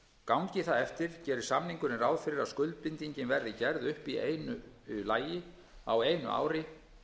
gangi það eftir gerir samningurinn ráð fyrir að skuldbindingin verði gerð upp í einu lagi á einu ári